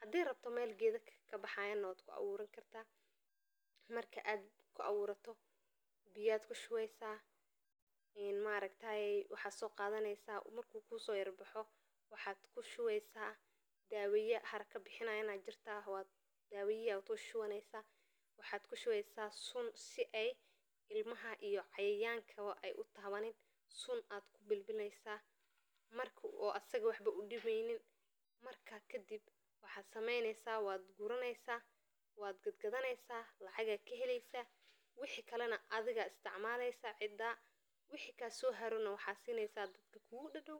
hadii rabto meel gedha kabaxayan waa ku aburan karta, marka ku aburato biya kushuweysa in maragta marku kuso yar baxo dawaya aya kushuweysa haraka bixinayan aya jirta dawadhaha aya kushuwaneysa waxaa kuahuweysa sun si ee ilmaha iyo cayayankawo ee utawanin sun aya kubil bileysa marku u asaga waxba udimeynin marka kadiib waxaa sameynesa waa guraneysa waad gad gadaneysa lacag aa ka heleysa wixi kalana adhiga aya isticmaleysa cida wixi kaso harana waxaa sineysa dadka kugu dadow.